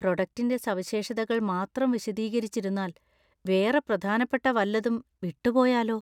പ്രൊഡക്ടിൻ്റെ സവിശേഷതകൾ മാത്രം വിശദീകരിച്ചിരുന്നാൽ വേറെ പ്രധാനപ്പെട്ട വല്ലതും വിട്ടുപോയാലോ?